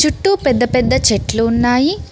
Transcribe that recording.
చుట్టూ పెద్ద పెద్ద చెట్లు ఉన్నాయి.